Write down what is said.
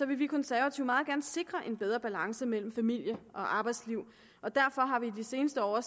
vi konservative meget gerne sikre en bedre balance mellem familie og arbejdsliv og derfor har vi i det seneste år